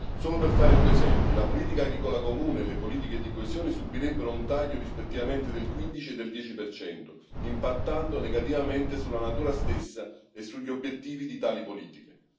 Solo per fare due esempi la politica agricola comune e le politiche di coesione subirebbero un taglio rispettivamente del 15 e del 10 impattando negativamente sulla natura stessa e sugli obiettivi di tali politiche.